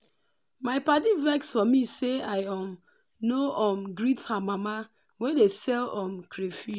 my padi vex for me say i um no um greet her mama wey dey sell um crayfish.